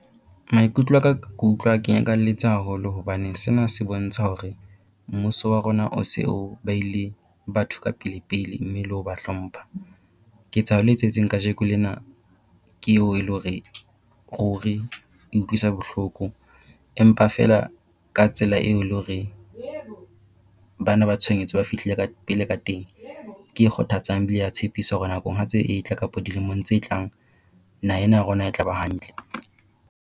Maikutlo aka ke utlwa ke nyakalletse haholo hobane sena se bontsha hore mmuso wa rona o se o baile batho ka pele pele, mme le ho ba hlompha. Ketsahalo e etsahetseng kajeko lena ke eo e le hore ruri e utlwisa bohloko empa feela ka tsela eo le hore ba na ba tshohanyetso ba fihlile ka pele ka teng, ke e kgothatsang ebile ya tshepisa hore nakong ha tse e tla kapo dilemong tse tlang, naha ena ya rona e tla ba hantle.